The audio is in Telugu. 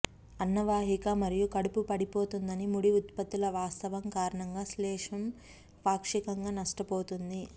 అన్నవాహిక మరియు కడుపు పడిపోతుందని ముడి ఉత్పత్తుల వాస్తవం కారణంగా శ్లేష్మం పాక్షికంగా నష్టపోతుంది